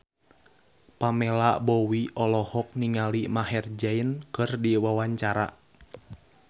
Pamela Bowie olohok ningali Maher Zein keur diwawancara